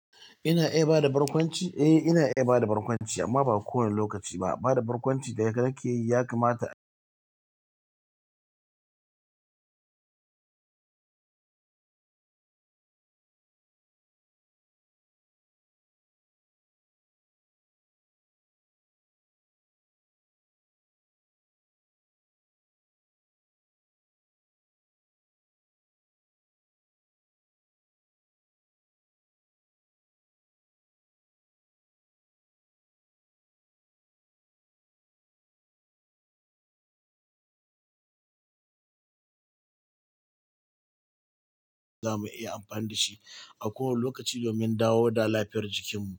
Ina iya bada barkwanci? Eh ina iya bada barkwanci amma ba kowane lokaci ba. Barkwanci da ka ke yi ya kamata za mu iya amfani da shi a kowane lokaci domin dawo da lafiyar jikin mu.